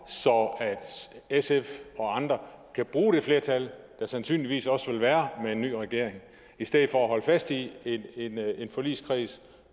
så sf og andre kan bruge det flertal der sandsynligvis også vil være med en ny regering i stedet for at holde fast i en forligskreds